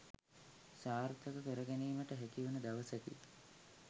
සාර්ථක කර ගැනීමට හැකිවන දවසකි